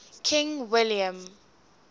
king william